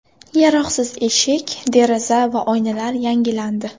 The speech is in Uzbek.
Yaroqsiz eshik, deraza va oynalar yangilandi.